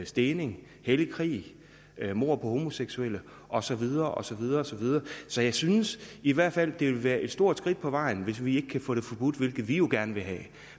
stening hellig krig mord på homoseksuelle og så videre og så videre så videre så jeg synes i hvert fald at det vil være et stort skridt på vejen hvis vi ikke kan få det forbudt hvilket vi jo gerne vil have